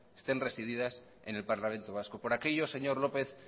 estén resididas en el parlamento vasco por aquello señor lópez